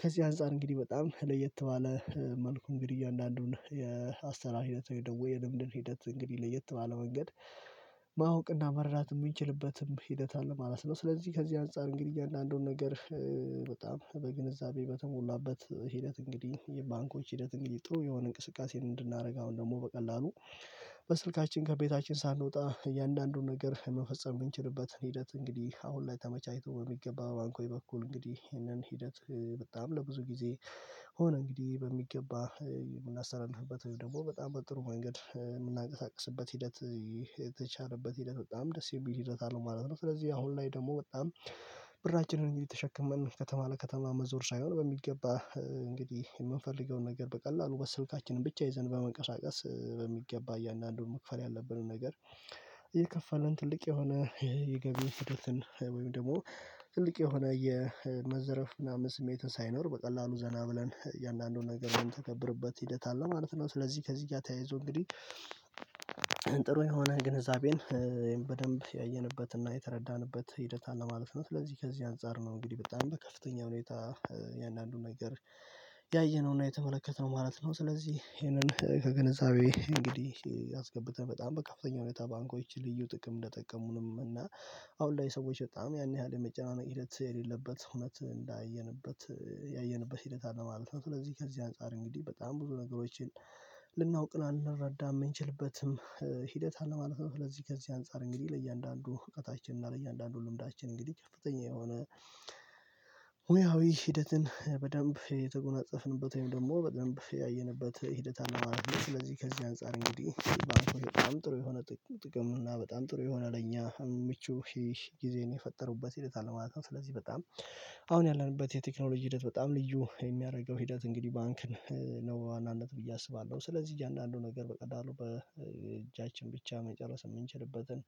ከዚህ አንፃር እንግዲህ በጣም ለየት ባለ መልኩ እንግዲህ እያአንዳንዱን የአሰራር ሂደት ወይ የልምድን ሂደት እንግዲህ ለየት ባለ ወንገድ ማወቅና መርዳት ምንችልበትም ሂደት አለ ማለት ነው። ስለዚህ ከዚህ አንፃር እንግዲህ እያንዳንዱን ነገር በጣም በግንዛቤ በተሞላበት ሂደት እንግዲህ የባንኮች ሂደት እንግዲህ ጥሩ የሆነ እንቅስቃሴ እንድናደርግ አሁን ደግሞ በቀላሉ በስልካችን ከቤታችን ሳንወጣ እያንዳንዱን ነገር መፈጸም ምንችልበትን ሂደት እንግዲህ አሁን ላይ ተመቻችቶ በሚገባ ባንኮይ በኩል እንግዲህ ይህንን ሂደት በጣም ለብዙ ጊዜ ሆኖ እንግዲህ በሚገባ የምናስተላልፍበት ወይም ደግሞ በጣም በጥሩ መንገድ የምናቀሳቅስበት ሂደት የተቻለበት ሂደት በጣም ደስ የሚል ሂደት አለው ማለት ነው። ስለዚህ አሁን ላይ ደግሞ በጣም ብራችንን እንጂ ተሸክመን ከተማ ለከተማ መዞር ሳይሆን በሚገባ እንግዲህ የምንፈልገውን ነገር በቀላሉ በስልካችን ብቻ ይዘን መንቀሳቀስ በሚገባ እያንዳንዱን መክፈል ያለብንን ነገር የከፈለን ትልቅ የሆነ የገቢ ስደትን ወይም ደግሞ ትልቅ የሆነ የመዘረፍ ምናምን ስሜትን ሳይኖር በቀላሉ ዘና ብለን የእያንዳንዱን ነገር ምን ተገብርበት ሂደት አለ ማለት ነው። ስለዚህ ከዚህ እያተያይዞ እንግዲህ ጥሩ የሆነ ግንዛቤን በደንብ ያየንበትና የተረዳንበት ሂደት አለ ማለት ነው። ስለዚህ ከዚህ አንፃር ነው እንግዲህ በጣም በከፍተኛ ሁኔታ የእንዳንዱን ነገር ያየነውና የተመለከትነው ማለት ነው። ስለዚህ ይሄንን ከግንዛቤ እንግዲህ አስገብተን በጣም በከፍተኛ ሁኔታ ባንኮች ልዩ ጥቅም እንደጠቀሙንም እና አሁን ላይ ሰዎች በጣም ያን ያህል የመጨናነቅ ሂደት የሌለበት እውነት እንዳየንበት ያየንበት ሂደት አለ ማለት ነው። ስለዚህ ከዚህ አንፃር እንግዲህ በጣም ብዙ ነገሮችን ልናውቅ ልንረዳም የምንችልበትም ሂደታን ማለት ነው። ለዚህ ከዚህ አንፃር እንግዲህ ለእያንዳንዱ እውቀታችን እና ለእያንዳንዱ ልምዳችን እንግዲህ ከፍተኛ የሆነ ሂደትን በደንብ የተጎናጸፍንበት ወይም ደግሞ በደንብ ሂደት አለማለት ነው። ስለዚህ ከዚህ አንፃር እንግዲህ በጣም ጥሩ የሆነ ጥቅም እና በጣም ጥሩ የሆነ ለኛ ምቹ ሂህ ጊዜን የፈጠሩበት ሂደት አለ ማለት ነው። ስለዚህ በጣም አሁን ያለንበት የቴክኖሎጂ ሂደት በጣም ልዩ የሚያረገው ሂደት እንግዲህ ባንክን ነው በዋናነት ብዬ አስባለሁ። ስለዚህ አንዳንዱ ነገር በቀላሉ በእጃችን ብቻ መጨረስ ምንችልበትን